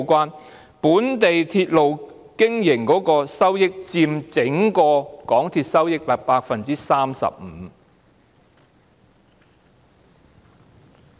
港鐵經營本地鐵路的收益佔整體收益 35%。